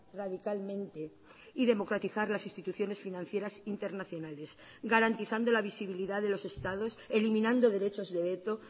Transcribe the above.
radicalmente y democratizar las instituciones financieras internacionales garantizando la visibilidad de los estados eliminando derechos de veto